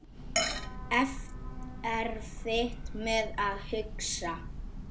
Erfitt með að hugsa.